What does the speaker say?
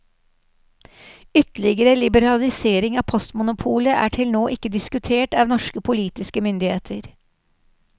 Ytterligere liberalisering av postmonopolet er til nå ikke diskutert av norske politiske myndigheter.